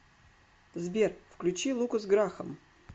сбер включи лукас грахам